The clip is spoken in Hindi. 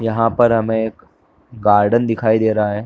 यहाँ पर हमें एक गार्डन दिखाई दे रहा है।